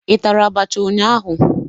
Ị tara abacha ụnyaahụ?